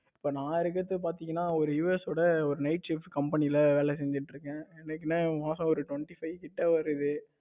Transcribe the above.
இப்ப நான் இருக்கிறது பாத்தீங்கன்னா, ஒரு US ஓட ஒரு night shift company ல வேலை செஞ்சுட்டு இருக்கேன். எனக்கு என்ன மாசம் ஒரு twenty five கிட்ட வருது.